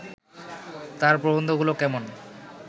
তাঁর প্রবন্ধগুলো কেমন